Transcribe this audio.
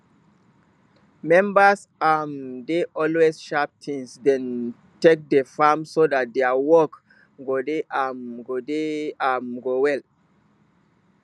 members um dey always sharp tins dem take dey farm so dat dia work go dey um go dey um go well